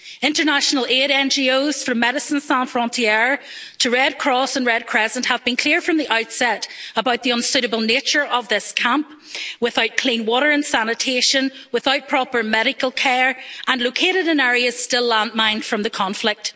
International aid NGOs from Médicine sans Frontières, to Red Cross and Red Crescent have been clear from the outset about the unsuitable nature of this camp without clean water and sanitation, without proper medical care, and located in areas still landmined from the conflict.